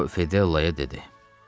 O Fedellaya dedi.